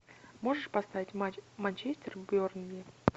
можешь поставить матч манчестер бернли